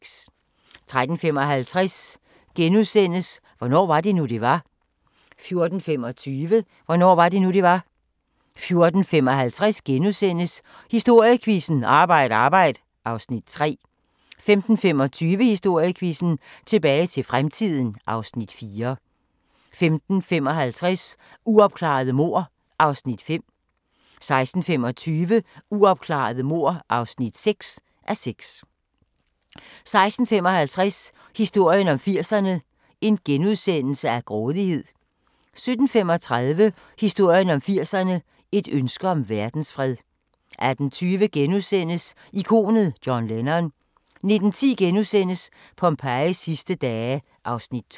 13:55: Hvornår var det nu, det var? * 14:25: Hvornår var det nu, det var? 14:55: Historiequizzen: Arbejd Arbejd (Afs. 3)* 15:25: Historiequizzen: Tilbage til fremtiden (Afs. 4) 15:55: Uopklarede mord (5:6) 16:25: Uopklarede mord (6:6) 16:55: Historien om 80'erne: Grådighed * 17:35: Historien om 80'erne: Et ønske om verdensfred 18:20: Ikonet John Lennon * 19:10: Pompejis sidste dage (Afs. 2)*